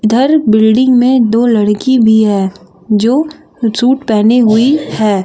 उधर बिल्डिंग में दो लड़की भी है जो सूट पहनी हुई है।